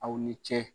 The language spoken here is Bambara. Aw ni ce